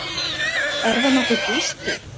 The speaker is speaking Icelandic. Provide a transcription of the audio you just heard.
Er það nokkuð Gísli?